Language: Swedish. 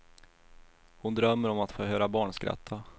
Hon drömmer om att få höra barn skratta.